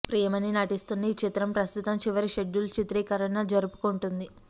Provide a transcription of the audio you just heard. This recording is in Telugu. ప్రియమణి నటిస్తున్న ఈ చిత్రం ప్రస్తుతం చివరి షెడ్యూల్ చిత్రీకరణ జరుపుకుంటోంది